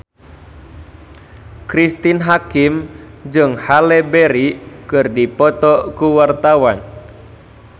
Cristine Hakim jeung Halle Berry keur dipoto ku wartawan